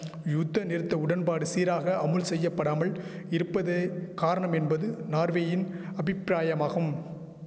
யூத்தநிறுத்த உடன்பாடு சீராக அமுல் செய்யபடாமல் இருப்பதே காரணம் என்பது நார்வேயின் அபிப்பிராயமாகும்